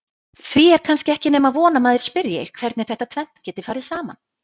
Því er kannski ekki nema von að maður spyrji hvernig þetta tvennt geti farið saman?